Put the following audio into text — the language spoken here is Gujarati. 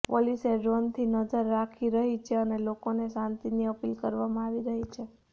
પોલીસે ડ્રોનથી નજર રાખી રહી છે અને લોકોને શાંતિની અપીલ કરવામાં આવી છે